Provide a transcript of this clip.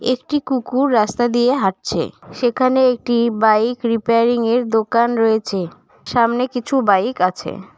একটি কুকুর রাস্তা দিয়ে হাঁটছে সেখানে একটি বাইক রিপেয়ারিংয়ের দোকান রয়েছে সামনে কিছু বাইক আছে।